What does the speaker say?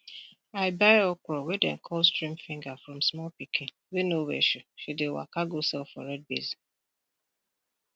i buy okra wey dem call stream finger from small pikin wey no wear shoe she dey waka go sell for red basin